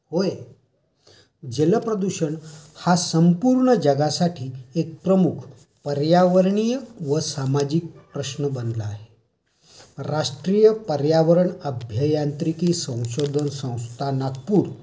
होय, जल प्रदूषण हा संपूर्ण जगासाठी एक प्रमुख पर्यावरणीय व सामाजिक प्रश्न बनला आहे. राष्ट्रीय पर्यावरण अभ्यायांत्रिकी व संशोधन संस्था, नागपुर